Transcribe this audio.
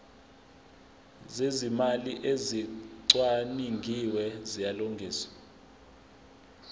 zezimali ezicwaningiwe ziyalungiswa